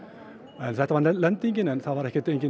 en þetta var lendingin en það var